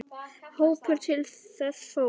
Hópur fór til þess.